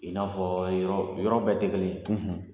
I n'afɔ yɔrɔ yɔrɔ bɛɛ tɛ kelen ye